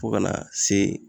Fo kana se